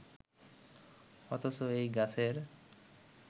অথচ এই গাছের